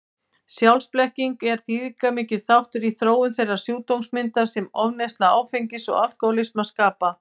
Sjálfsblekkingin er þýðingarmikill þáttur í þróun þeirrar sjúkdómsmyndar sem ofneysla áfengis og alkohólismi skapa.